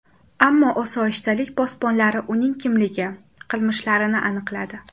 Ammo osoyishtalik posbonlari uning kimligi, qilmishlarini aniqladi.